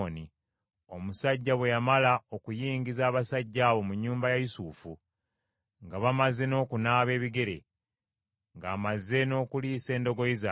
Omusajja bwe yamala okuyingiza abasajja abo mu nnyumba ya Yusufu, nga bamaze n’okunaaba ebigere, ng’amaze n’okuliisa endogoyi zaabwe,